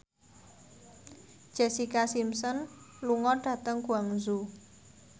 Jessica Simpson lunga dhateng Guangzhou